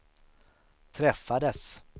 träffades